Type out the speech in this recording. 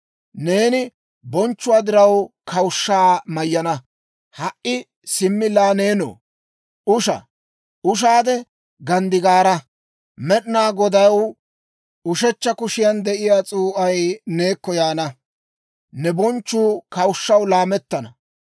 Neeni bonchchuwaa diraw kawushshaa mayyana. Ha"i simmi laa neenoo, usha! Ushaade ganddigaara! Med'ina Godaw ushechcha kushiyan de'iyaa s'uu'ay neekko yaana; ne bonchchuu kawushshaw laamettana.